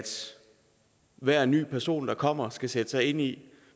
hver ny person der kommer skal sætte sig ind i